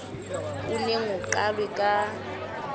o neng o qalwe ka